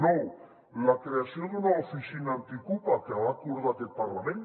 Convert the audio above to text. nou la creació d’una oficina antiocupa que va acordar aquest parlament